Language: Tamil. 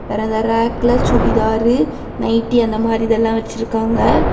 வேற அந்த ரேக்ல சுடிதாரு நைட்டி அந்த மாதிரி இதெலாம் வச்சிருக்காங்க.